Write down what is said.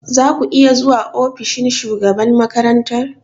Za ku iya zuwa ofishin shugaban makarantar?